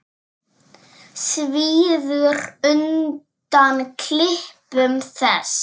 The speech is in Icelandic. Svíður undan klipum þess.